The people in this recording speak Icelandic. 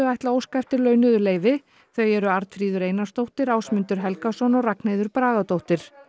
ætla að óska eftir launuðu leyfi þau eru Arnfríður Einarsdóttir Ásmundur Helgason og Ragnheiður Bragadóttir